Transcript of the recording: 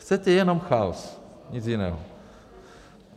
Chcete jenom chaos, nic jiného.